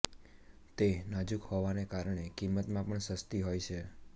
તે નાજુક હોવાને કારણે કિંમતમાં પણ સસ્તી હોય છે